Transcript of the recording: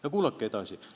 Aga kuulake edasi: "...